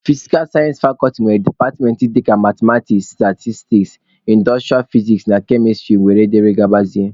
Fisikal sayensị fakọlti nwere departmentị dịka mathematiks, statistiks, indostrịa fiziks na kemịstrị wdg.